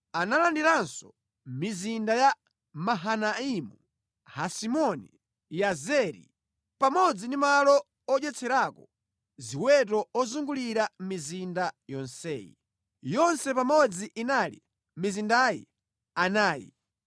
Analandiranso mizinda ya Mahanaimu, Hesiboni, Yazeri pamodzi ndi malo odyetserako ziweto ozungulira mizinda yonseyi. Yonse pamodzi inali mizindayi anayi.